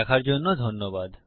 দেখার জন্য ধন্যবাদ